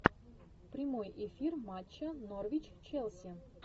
прямой эфир матча норвич челси